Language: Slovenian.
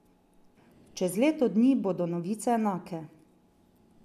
Čez leto dni bodo novice enake.